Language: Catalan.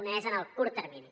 un és en el curt termini